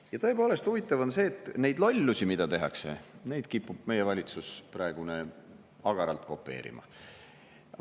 Ja tõepoolest, huvitav on see, et neid lollusi, mida tehakse, kipub meie praegune valitsus agaralt kopeerima.